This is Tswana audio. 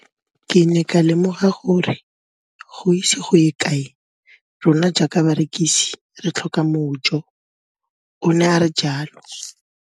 Ke ne ka lemoga gore go ise go ye kae rona jaaka barekise re tla tlhoka mojo, o ne a re jalo.